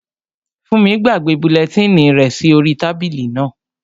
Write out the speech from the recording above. Fúnmi gbàgbé bulẹtínì rẹ̀ sí orí tábìlì náà